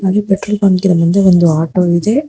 ಈ ಪೆಟ್ರೋಲ್ ಬಂಕಿನ ಮುಂದೆ ಒಂದು ಆಟೋ ಇದೆ.